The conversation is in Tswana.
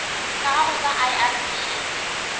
sa gago sa irp it